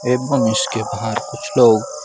एकदम उसके बाहर कुछ लोग--